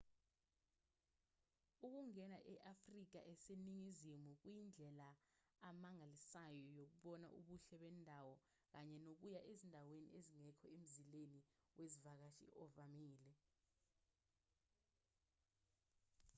ukungena e-afrika eseningizimu kuyindlela amangalisayo yokubona ubuhle bendawo kanye nokuya ezindaweni ezingekho emzileni wezivakashi ovamile